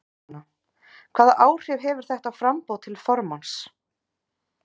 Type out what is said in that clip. Jóhanna: Hvaða áhrif hefur þetta á framboð til formanns?